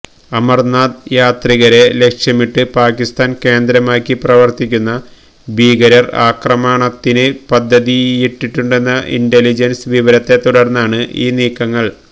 അമര്നാഥ് യാത്രികരെ ലക്ഷ്യമിട്ട് പാകിസ്താന് കേന്ദ്രമാക്കി പ്രവര്ത്തിക്കുന്ന ഭീകരര് ആക്രമണത്തിന് പദ്ധതിയിട്ടിട്ടുണ്ടെന്ന ഇന്റലിജന്സ് വിവരത്തെ തുടര്ന്നാണ് ഈ നീക്കങ്ങള്